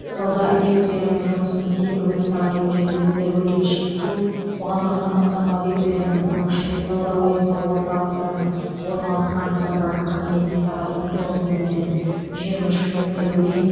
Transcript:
сауда объектілерінің жұмысын сенбі күні сағат он жеті нөл нөлге дейін шектеу қоғамдық тамақтану объектілерінің оның ішінде сауда ойын сауық орталықтарында орналасқан нысандардың қызметіне сағат он тоғыз нөл нөлден жиырма үш нөл нөлге дейін